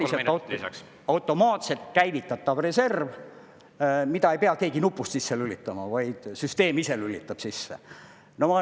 … ehk siis praktiliselt automaatselt käivitatav reserv, mida ei pea keegi nupust sisse lülitama, vaid süsteem ise lülitab sisse.